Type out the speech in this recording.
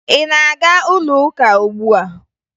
Ị na-aga ụlọuka ugbua?